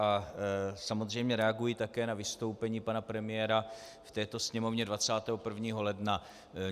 A samozřejmě reaguji také na vystoupení pana premiéra v této sněmovně 21. ledna.